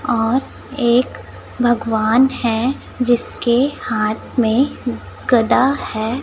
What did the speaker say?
और एक भगवान है जिसके हाथ में गदा है।